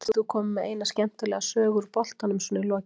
Getur þú komið með eina skemmtilega sögu úr boltanum svona í lokin?